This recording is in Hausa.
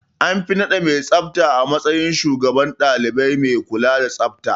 An fi naɗa mai tsafta matsayin shugaban ɗalibai mai kula da tsafta.